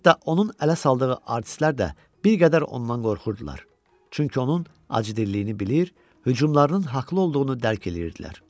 Hətta onun ələ saldığı artistlər də bir qədər ondan qorxurdular, çünki onun acı dilliliyini bilir, hücumlarının haqlı olduğunu dərk eləyirdilər.